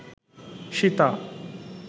Sita